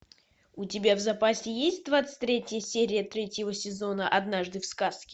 у тебя в запасе есть двадцать третья серия третьего сезона однажды в сказке